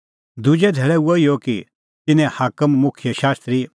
दुजै धैल़ै हुअ इहअ कि तिन्नें हाकम मुखियै शास्त्री